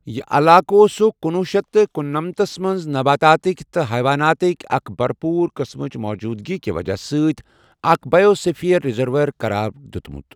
یہِ علاقہٕ اوسُکھ کُنوُہ شیتھ تہٕ کنُنمنتَھس منٛز نباتاتٕکۍ تہٕ حیواناتٕکۍ اکھ برپوٗر قٕسمٕچ موٗجوٗدگی کہِ وجہہ سۭتۍ اکھ بایوسفیئر ریزرو قرار دیُتمُت۔